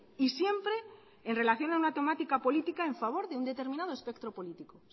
y siempre en relación a una temática política en favor de un determinado espectro político